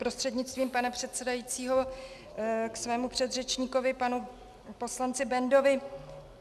Prostřednictvím pana předsedajícího k svému předřečníkovi panu poslanci Bendovi.